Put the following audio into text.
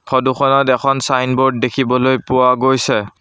Photo খনত এখন signboard দেখিবলৈ পোৱা গৈছে।